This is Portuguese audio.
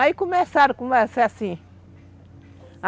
Aí começaram a ser assim.